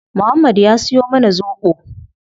Muhammad ya siyo mana zobo